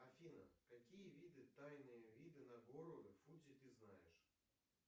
афина какие виды тайные виды на гору фудзи ты знаешь